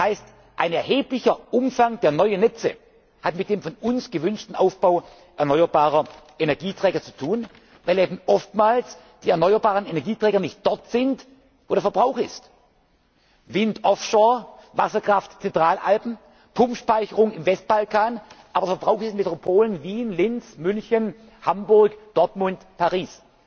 nach Osten. Das heißt Ein erheblicher Umfang der neuen Netze hat mit dem von uns gewünschten Aufbau erneuerbarer Energieträger zu tun, weil eben oftmals die erneuerbaren Energieträger nicht dort sind, wo der Verbrauch ist Wind offshore, Wasserkraft in den Zentralalpen, Pumpspeicherung im Westbalkan, aber Verbrauch in Metropolen Wien, Linz, München, Hamburg, Dortmund,